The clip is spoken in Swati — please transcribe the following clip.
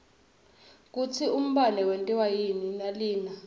kutsi umbane wentiwa yini nalina